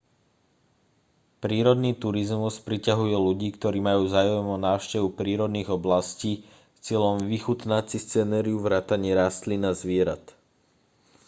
prírodný turizmus priťahuje ľudí ktorí majú záujem o návštevu prírodných oblastí s cieľom vychutnať si scenériu vrátane rastlín a zvierat